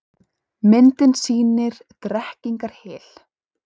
Myndin sýnir Drekkingarhyl.